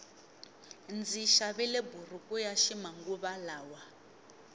ndzi xavile buruku yaxi manguva lawa